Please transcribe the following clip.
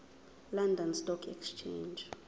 london stock exchange